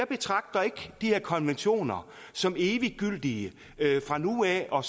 betragter ikke de her konventioner som evigtgyldige fra nu af og